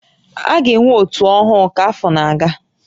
A ga-enwe ótú ọhụụ ka afọ na-aga